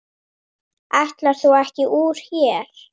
Ætlaðir þú ekki úr hér?